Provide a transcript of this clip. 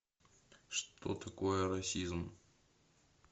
что такое расизм